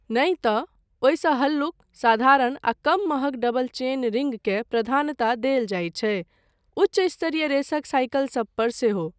नहि तँ, ओहिसँ हल्लुक, साधारण आ कम महँग डबल चेन रिंगकेँ प्रधानता देल जाइत छै, उच्च स्तरीय रेसक साइकिलसब पर सेहो।